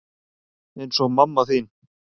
Eins og mamma þín.